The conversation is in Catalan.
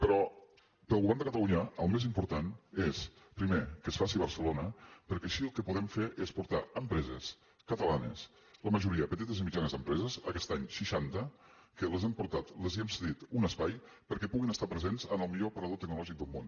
però pel govern de catalunya el més important és primer que es faci a barcelona perquè així el que podem fer és portar empreses catalanes la majoria petites i mitjanes empreses aquest any seixanta que les hem portat els hem cedit un espai perquè puguin estar presents en el millor aparador tecnològic del món